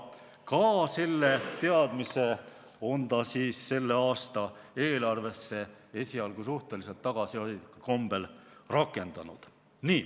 Selle teadmise on ta selle aasta eelarvesse esialgu suhteliselt tagasihoidlikul kombel rakendanud.